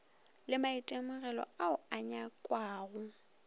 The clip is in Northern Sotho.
le maitemogelo ao a nyakwago